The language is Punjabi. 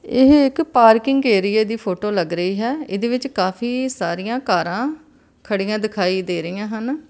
ਇਹ ਇੱਕ ਪਾਰਕਿੰਗ ਏਰੀਏ ਦੀ ਫੋਟੋ ਲੱਗ ਰਹੀ ਹੈ ਇਹਦੇ ਵਿੱਚ ਕਾਫੀ ਸਾਰੀਆਂ ਕਾਰਾਂ ਖੜੀਆਂ ਦਿਖਾਈ ਦੇ ਰਹੀਆਂ ਹਨ।